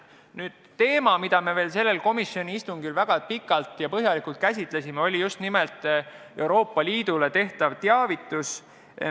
Üks teema, mida me sellel komisjoni istungil väga pikalt ja põhjalikult käsitlesime, oli Euroopa Liidu teavitamine eelnõust.